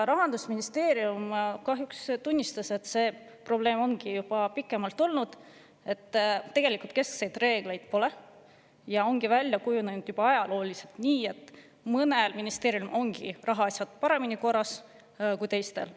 Rahandusministeerium kahjuks tunnistas, et juba pikemat aega ongi olnud probleemiks see, tegelikult keskseid reegleid pole ja juba ajalooliselt on välja kujunenud nii, et mõnel ministeeriumil on rahaasjad paremini korras kui teistel.